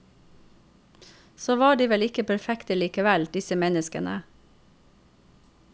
Så var de vel ikke perfekte likevel, disse menneskene.